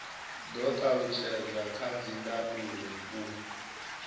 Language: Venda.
do talutshedzwa kha dzindaulo u